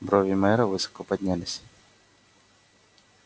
брови мэра высоко поднялись